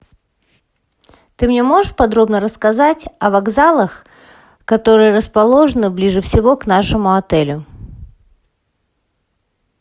ты мне можешь подробно рассказать о вокзалах которые расположены ближе всего к нашему отелю